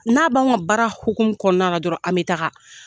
U n'a b'anw ka baara hokumu kɔnnara na dɔrɔn an bɛ taaga.